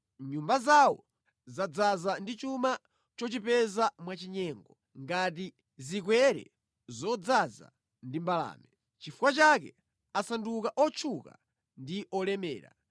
Nyumba zawo zadzaza ndi chuma chochipeza mwa chinyengo ngati zikwere zodzaza ndi mbalame. Nʼchifukwa chake asanduka otchuka ndi olemera.